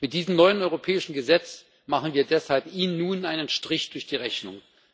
Mit diesem neuen europäischen Gesetz machen wir ihnen deshalb nun einen Strich durch die Rechnung.